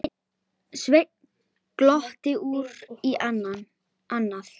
Sveinn glotti út í annað.